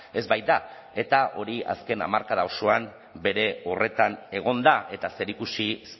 ez baita eta hori azken hamarkada osoan bere horretan egon da eta zerikusi